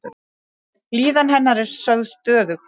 Líðan hennar er sögð stöðug.